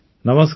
ନମସ୍କାର